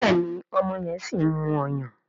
Béèni ọmọ yen sìn mú ọyàn.